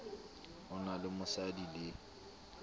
o na le mosadi le